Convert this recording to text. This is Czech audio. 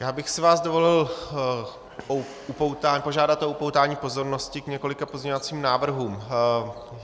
Já bych si vás dovolil požádat o upoutání pozornosti k několika pozměňovacím návrhům.